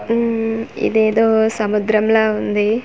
ఉమ్ మ్ ఇదేదో సముద్రం లా ఉంది.